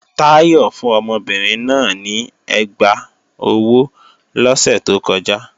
Táyọ̀ fún ọmọbìnrin náà ní ẹgbá ọwọ́ lọ́sẹ̀ tó kọjá